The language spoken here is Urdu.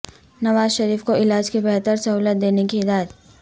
نوازشریف کو علاج کی بہتر سہولت دینے کی ہدایت